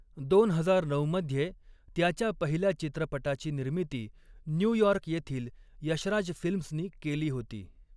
दोन हजार नऊ मध्ये त्याच्या पहिल्या चित्रपटाची निर्मिती न्यूयॉर्क येथील यशराज फिल्म्सनी केली होती.